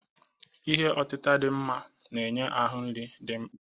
Ihe otita dị mma na-enye ahụ nri dị mkpa.